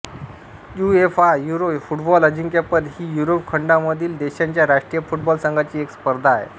UEFA euro football अजिंक्यपद ही Europe खंडामधील देशांच्या राष्ट्रीय फुटबॉल संघांची एक स्पर्धा आहे